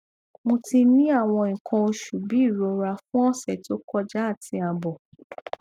mo ti ni awon ikan osu bi irora fun ose to koja ati abo